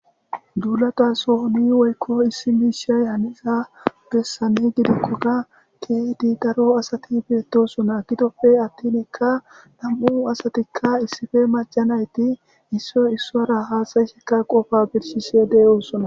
dulata sohoni woykko issi mishey haniza gessane gidokkoda keedi daro asati beettosuna gidope attinikka nam7u asatikka issife majanayti issoy issora haasayissekka qofa birshise de7oosunna